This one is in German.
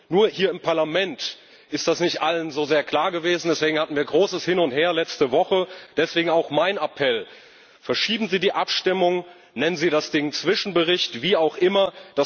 Nur hier im Parlament ist das nicht allen so sehr klar gewesen. Deswegen hatten wir letzte Woche großes Hin und Her. Deswegen auch mein Appell Verschieben Sie die Abstimmung, nennen Sie das Ding Zwischenbericht, wie auch immer.